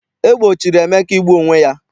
E gbochiri Emeka igbu onwe ya.